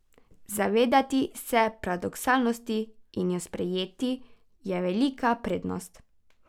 Zavedati se paradoksalnosti in jo sprejeti je velika prednost.